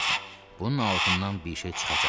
Bunun altından bir şey çıxacaq.